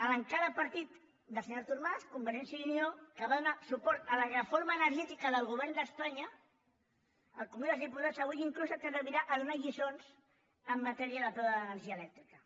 l’encara partit del senyor artur mas convergència i unió que va donar suport a la reforma energètica del govern d’espanya al congrés dels diputats avui inclús s’atrevirà a donar lliçons en matèria del preu de l’energia elèctrica